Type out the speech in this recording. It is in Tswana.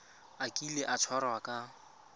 a kile a tshwarwa ka